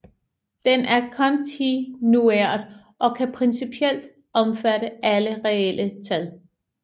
Den er kontinuert og kan principielt omfatte alle reelle tal